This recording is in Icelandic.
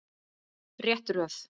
Rétt röð.